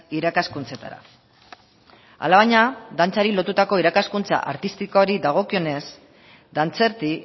irakaskuntzetara alabaina dantzari lotuta irakaskuntza artistikoari dagokionez dantzerti